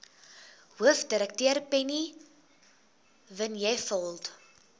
hoofdirekteur penny vinjevold